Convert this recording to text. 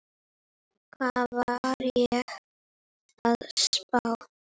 Hvað var ég að spá?